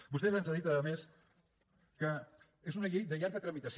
vostè ens ha dit a més que és una llei de llarga tramitació